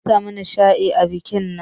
Mun samu nishadi a bikin nan.